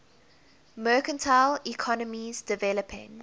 mercantile economies developing